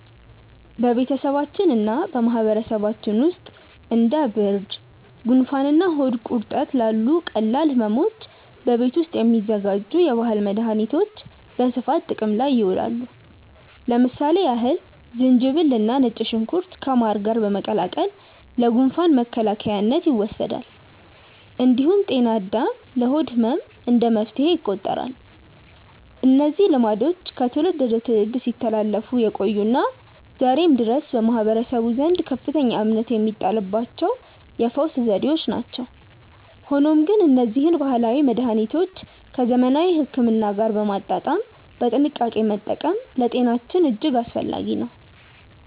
በቤተሰባችንና በማህበረሰባችን ውስጥ እንደ ብርድ፣ ጉንፋንና ሆድ ቁርጠት ላሉ ቀላል ሕመሞች በቤት ውስጥ የሚዘጋጁ የባህል መድኃኒቶች በስፋት ጥቅም ላይ ይውላሉ። ለምሳሌ ያህል ዝንጅብልና ነጭ ሽንኩርት ከማር ጋር በመቀላቀል ለጉንፋን መከላከያነት ይወሰዳል። እንዲሁም ጤና አዳም ለሆድ ህመም እንደ መፍትሄ ይቆጠራሉ። እነዚህ ልማዶች ከትውልድ ወደ ትውልድ ሲተላለፉ የቆዩና ዛሬም ድረስ በማህበረሰቡ ዘንድ ከፍተኛ እምነት የሚጣልባቸው የፈውስ ዘዴዎች ናቸው። ሆኖም ግን እነዚህን ባህላዊ መድኃኒቶች ከዘመናዊ ሕክምና ጋር በማጣጣም በጥንቃቄ መጠቀም ለጤናችን እጅግ አስፈላጊ ነው።